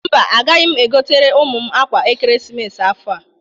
Mba, agaghị m egotere ụmụ m akwa ekeresimesi afọ a.